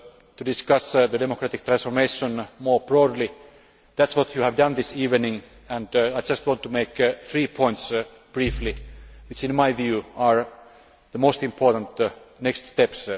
to discuss the democratic transformation more broadly. That is what you have done this evening and I just want to make three points briefly, which, in my view, are the most important next steps.